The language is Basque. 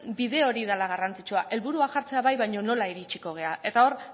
bide hori dela garrantzitsua helburua jartzea bai baina nola iritsiko gara eta hor